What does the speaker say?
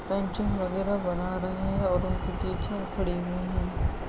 Painting वगैरा बना रहे है और उनकी टीचर खड़ी हुई है।